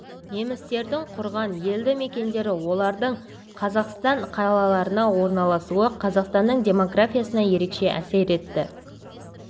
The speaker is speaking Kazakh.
немістердің құрған елді-мекендері олардың қазақстан қалаларына орналасуы қазақстанның демографиясына ерекше әсер етті